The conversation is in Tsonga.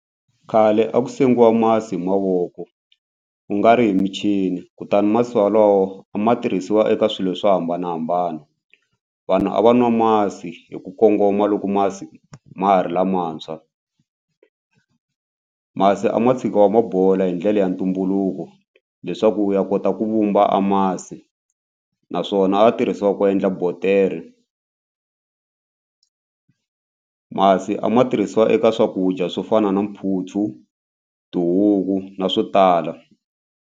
Khale a ku sengiwa masi hi mavoko ku nga ri hi michini kutani masi wolowo a ma tirhisiwa eka swilo swo hambanahambana. Vanhu a va nwa masi hi ku kongoma loko masi ma ha ri lamantshwa. Masi a ma tshikiwa ma bola hi ndlela ya ntumbuluko leswaku u ya kota ku vumba amasi naswona a ya tirhisiwa ku endla botere. Masi a ma tirhisiwa eka swakudya swo fana na mphutsu, tihuku na swo tala.